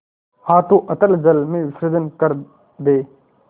हाथों अतल जल में विसर्जन कर दे